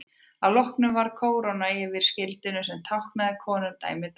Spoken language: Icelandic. Að lokum var kóróna yfir skildinum sem táknaði konungdæmi Dana.